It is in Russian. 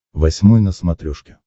восьмой на смотрешке